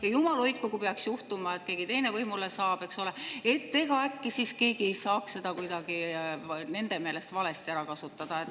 Ja jumal hoidku, kui peaks juhtuma, et keegi teine võimule saab, äkki siis saaks keegi seda kuidagi nende meelest valesti ära kasutada.